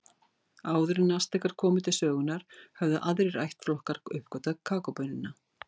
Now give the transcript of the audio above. Áður en Astekar komu til sögunnar höfðu aðrir ættflokkar uppgötvað kakóbaunina.